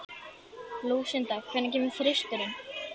Lúsinda, hvenær kemur þristurinn?